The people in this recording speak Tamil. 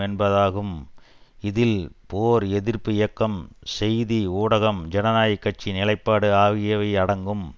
என்பதாகும் இதில் போர் எதிர்ப்பு இயக்கம் செய்தி ஊடகம் ஜனநாயக கட்சி நிலைப்பாடு ஆகியவை அடங்கும்